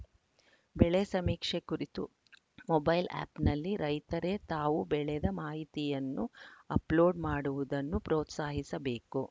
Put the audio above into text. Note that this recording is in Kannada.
ಬೆಳೆ ಸಮೀಕ್ಷೆ ಕುರಿತು ಮೊಬೈಲ ಆ್ಯಪ್‌ನಲ್ಲಿ ರೈತರೇ ತಾವು ಬೆಳೆದ ಮಾಹಿತಿಯನ್ನು ಅಪ್‌ಲೋಡ್‌ ಮಾಡುವುದನ್ನು ಪ್ರೋತ್ಸಾಹಿಸಬೇಕು